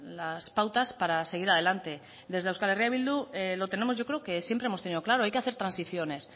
las pautas para seguir adelante desde euskal herria bildu lo tenemos yo creo que siempre hemos tenido claro hay que hacer transiciones